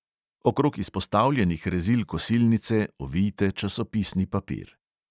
Okrog izpostavljenih rezil kosilnice ovijte časopisni papir.